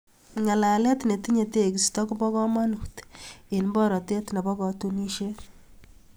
Ng'alaalet ne tinye teegisto ko bo komonuut eng boroteet nebo katunisieet